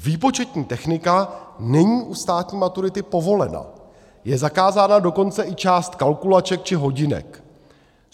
Výpočetní technika není u státní maturity povolena, je zakázána dokonce i část kalkulaček či hodinek.